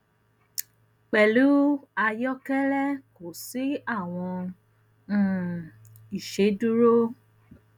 pẹlu ayokele ko si awọn um iṣeduro